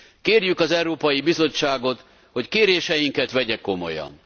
Kérjük az Európai Bizottságot, hogy kéréseinket vegye komolyan.